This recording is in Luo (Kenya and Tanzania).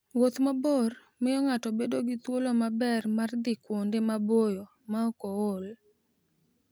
Wuoth mabor miyo ng'ato bedo gi thuolo maber mar dhi kuonde maboyo maok ool.